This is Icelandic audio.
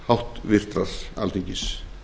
háttvirtur alþingis